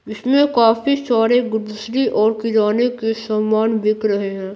इसमें काफी सारे ग्लूसरी और किराने के सामान बिक रहे हैं।